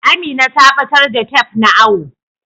Amina ta batar da tef na awo.